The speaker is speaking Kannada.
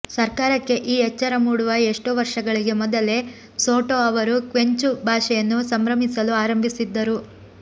ಸರ್ಕಾರಕ್ಕೆ ಈ ಎಚ್ಚರ ಮೂಡುವ ಎಷ್ಟೋ ವರ್ಷಗಳಿಗೆ ಮೊದಲೇ ಸೊಟೊ ಅವರು ಕ್ವೆಂಚು ಭಾಷೆಯನ್ನು ಸಂಭ್ರಮಿಸಲು ಆರಂಭಿಸಿದ್ದರು